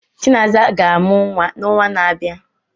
Chinasa ga-amụ nwa n'ọnwa na-abịa.